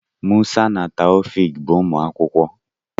Musa na Taofiq bụ ụmụ akwụkwọ.